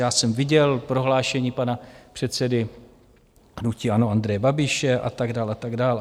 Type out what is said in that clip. Já jsem viděl prohlášení pana předsedy hnutí ANO Andreje Babiše a tak dál, a tak dál.